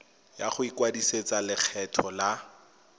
ya go ikwadisetsa lekgetho la